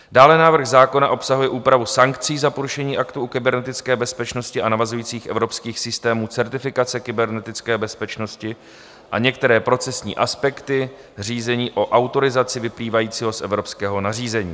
Dále návrh zákona obsahuje úpravu sankcí za porušení aktu o kybernetické bezpečnosti a navazujících evropských systémů certifikace kybernetické bezpečnosti a některé procesní aspekty, řízení o autorizaci vyplývajícího z evropského nařízení.